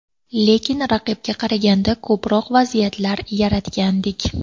Lekin raqibga qaraganda ko‘proq vaziyatlar yaratgandik.